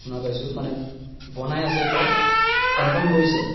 শুনা পাইছো মানে বনাই আছে এতিয়া confirm কৰিছে